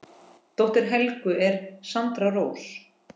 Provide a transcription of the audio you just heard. Dóttir Helgu er Sandra Rós.